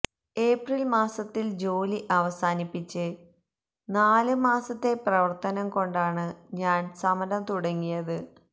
April മാസത്തില് ജോലി അവസാനിപ്പിച്ച് നാല് മാസത്തെ പ്രവര്ത്തനം കൊണ്ടാണ് ഞാന് സമരം തുടങ്ങിയത്